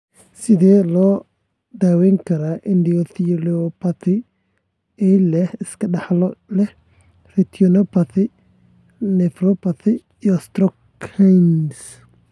Sidee loo daweyn karaa endotheliopathy ee la iska dhaxlo ee leh retinopathy, nephropathy, iyo stroke (HERNS)?